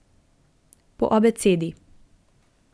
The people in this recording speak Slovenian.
Po abecedi.